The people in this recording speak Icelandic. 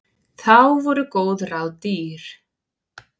Þá voru góð ráð dýr!